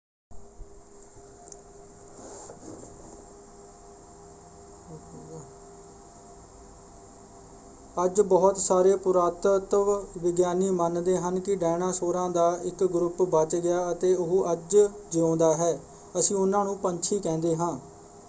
ਅੱਜ ਬਹੁਤ ਸਾਰੇ ਪੁਰਾਤੱਤਵ ਵਿਗਿਆਨੀ ਮੰਨਦੇ ਹਨ ਕਿ ਡਾਇਨਾਸੌਰਾਂ ਦਾ ਇੱਕ ਗਰੁੱਪ ਬੱਚ ਗਿਆ ਅਤੇ ਉਹ ਅੱਜ ਜਿਉਂਦਾ ਹੈ। ਅਸੀਂ ਉਨ੍ਹਾਂ ਨੂੰ ਪੰਛੀ ਕਹਿੰਦੇ ਹਾਂ।